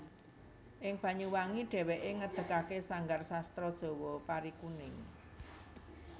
Ing Banyuwangi dhèwèké ngedegake sanggar sastra Jawa Parikuning